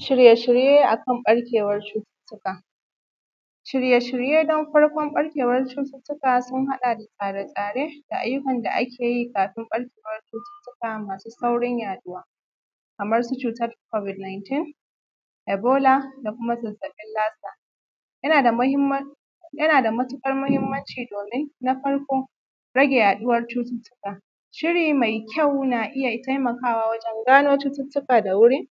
Shirye-shirye akan ɓarkewan cututuka. Shirye- shirye don farkon ɓarkewan cututuka sun haɗa da tsare-tsare da ayyukan da akeyi kafin ɓarkewar cututuka masu saurin yaɗuwa, kamar su cutan kamar su cutan kobid niytin, ibola da kuma zazzaɓin lasa. Yana da mahimman, yana da matuƙar muhimmanci domin: Na farko rage yaduwar cututukan, shiri mai kyau na iya taimakawa wajen gano cututuka da wuri,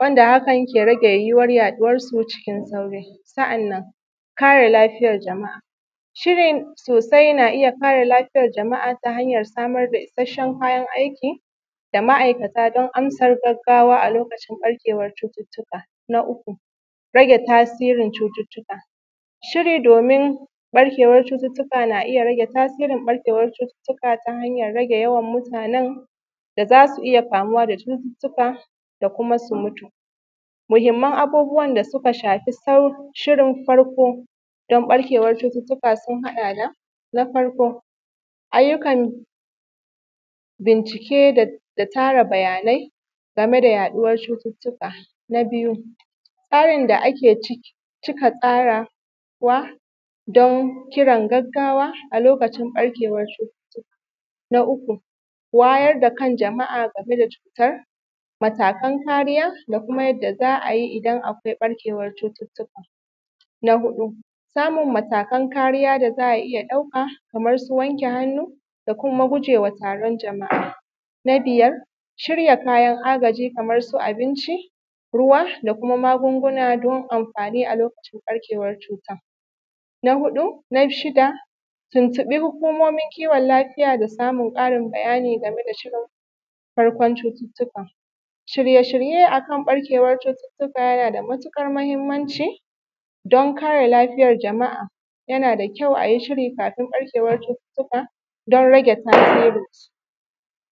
wanda hakan ke rage yaduwansu, yiwuwar yaɗuwarsu cikin sauri. Sa’annan, kare lafiyar jama’a, shiri sosai na iya kare lafiyar jama’a ta hanyar samar da isashen kayan aiki da ma’aikata don ansa kiran gaggawa a lokacin ɓarkewar cutan. Na uku rage tasirin cututuka, shirin domin ɓarkewan cututuka na iya rage tasirin ɓarkewan cututuka ta hanyar rage yawan mutanen da zasu iya kamu da cututukan da kuma suka mutu. Muhimman abubuwan da suka shafi safi shirin farko don ɓarkewan cututuka sun haɗa da: Na farko ayyukan bincike, da tara bayanai game da yaɗuwar cututuka Na biyu tsari da aka tsarawa don kiran gaggawa a lokacin ɓarkewan cutan. Na uku, wayar da kan jama’a game da cutan, matakan kariya da kuma yadda za ayi idan akwai ɓarkewan cutan. Huɗu, samun matakan kariya da za a iya ɗauka, kaman su wanke hannu da kuma gujewa taron jama’a, Na biyar, shirya kayan agaji kamar su abinci, ruwa da kuma magunguna don anfani a lokacin ɓarkewar cutan. Na huɗu, na shida ,tuntubi hukumomin kiwon lafiya da samar da karin bayani game da shirin tun farkon cututukan. Shirye-shirye akan ɓarkewar cututuka yana da matuƙar muhimmanci don kare lafiyar jama’a yana da kyau ayi shiri kafin ɓarkewar cututukan don rage tasirinsu.